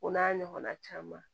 O n'a ɲɔgɔnna caman